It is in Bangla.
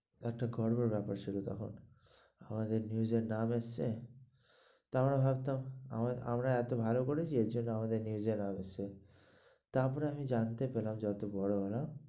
একটা গর্ভের ব্যাপার ছিল তখন আমাদের news নাম এসেছে, তো আমরা ভাবতাম আআ আমরা এত ভালো করেছি তাই আমাদের নাম এসেছে, তারপর আমি জানতে পারলাম যে যত বড় হলাম।